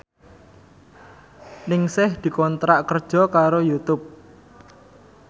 Ningsih dikontrak kerja karo Youtube